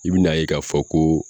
I bi n'a ye k'a fɔ ko